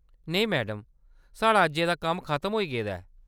नेईं, मैडम, साढ़ा अज्जै दा कम्म खतम होई गेदा ऐ।